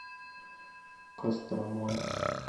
костромой